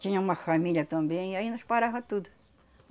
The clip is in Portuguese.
Tinha uma família também e aí nós parava tudo.